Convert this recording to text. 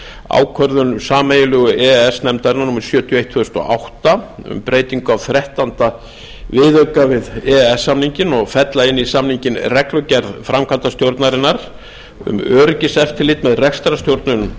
ákvörðun sameiginlegu e e s nefndarinnar númer sjötíu og eitt tvö þúsund og átta um breytingu á þrettánda viðauka við e e s samninginn og fella inn í samninginn reglugerð framkvæmdastjórnarinnar um öryggiseftirlit með rekstrarstjórnun